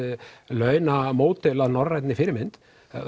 launamódel að norræni fyrirmynd